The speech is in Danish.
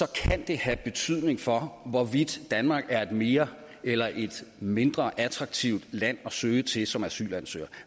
kan have betydning for hvorvidt danmark er et mere eller et mindre attraktivt land at søge til som asylansøger